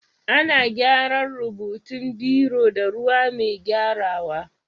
Ana gyaran rubutun biro da ruwa mai gyarawa.